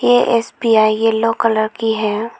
ये S B I yellow colour की है।